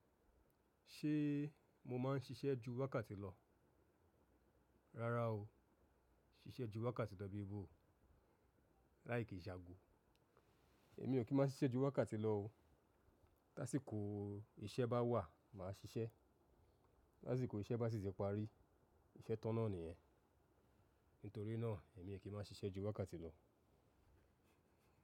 Ṣé mo máa ń ṣiṣẹ́ ju wákàtí lọ? Rárá o. Ṣiṣẹ́ ju wákàtí lọ bí i bó. Láì kìn se ago. Èmi ò kín má ṣiṣẹ́ ju wákàtí lọ o. Lásìkò iṣẹ́ bá wà, màá ṣiṣẹ́. Ti asìkò iṣẹ́ bá sì ti parí, iṣẹ́ tán náà nìyẹn. Nítorí náà èmi ò kí má n ṣiṣẹ́ ju wákàtí lọ.